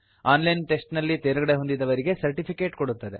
on line test ನಲ್ಲಿ ತೇರ್ಗಡೆಹೊಂದಿದವರಿಗೆ certificate ಕೊಡುತ್ತದೆ